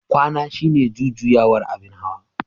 kwana shine jujjuyawar abin hawa.